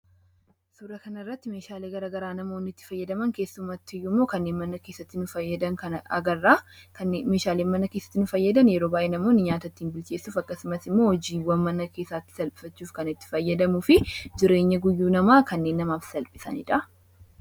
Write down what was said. Suura kanarratti meeshaalee garagaraa namoonni itti fayyadaman keessumatti immoo kanneen mana keessatti agarraa meeshaaleen manna keessatti nuu fayyadan yeroo baa'ee namoonni nyaata ittiin bilcheessuuf akkasumas immoo hojiiwwan mana keessaatti salphisachuuf kan itti fayyadamuu fi jireenya guyyuu namaa kanneen namaaf salphisaniidha.